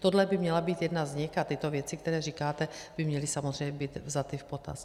Tohle by měla být jedna z nich a tyto věci, které říkáte, by měly samozřejmě být vzaty v potaz.